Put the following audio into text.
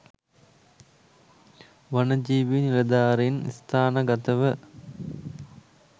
වනජීවි නිලධාරින් ස්ථානගතව